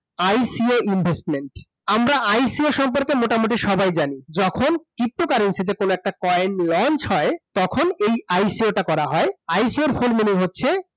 ICO investment আমরা ICO সম্পর্কে মোটামুটি সবাই জানি । যখন pto currency তে কোন একটা coin launch হয়, তখন এই ICO টা করা হয় । ICO এর full meaning হচ্ছে